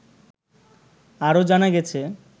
আরও জানা গেছে